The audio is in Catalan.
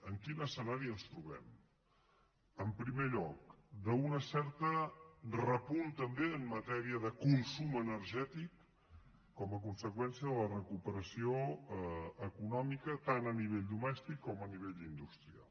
en quin escenari ens trobem en primer lloc d’un cert repunt també en matèria de consum energètic com a conseqüència de la recuperació econòmica tant a nivell domèstic com a nivell industrial